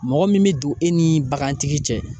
Mɔgɔ min bɛ don e ni bagantigi cɛ